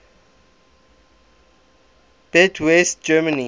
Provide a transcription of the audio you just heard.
beat west germany